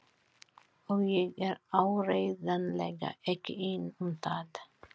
Og ég er áreiðanlega ekki einn um það.